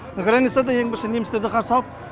границада ең бірінші немістерді қарсы алып